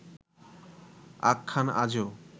আখ্যান আজও